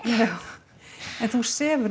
en þú sefur